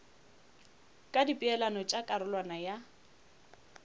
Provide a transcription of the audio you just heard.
ka dipeelano tša karolwana ya